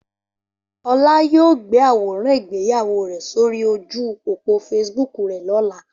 Ola yoo gbe aworan igbeyawo re sori oju opo Facebook re lola.